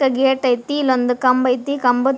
ಅ gate ಐತಿ ಇಲ್ಲೊಂದ್ ಕಂಬ್ ಐತಿ ಕಂಬಾದ್--